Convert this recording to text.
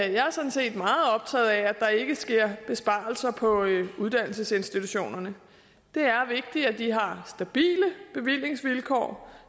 jeg er sådan set meget optaget af at der ikke sker besparelser på uddannelsesinstitutionerne det er vigtigt at de har stabile bevillingsvilkår